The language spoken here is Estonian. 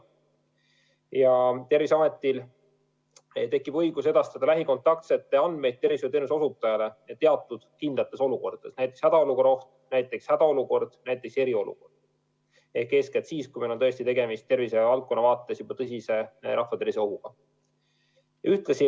Ja Terviseametil tekib õigus edastada lähikontaktsete andmeid tervishoiuteenuse osutajale teatud kindlates olukordades, näiteks hädaolukorra oht, näiteks hädaolukord, näiteks eriolukord – ehk eeskätt siis, kui meil on tõesti tegemist tervishoiu valdkonnas juba tõsise ohuga rahva tervisele.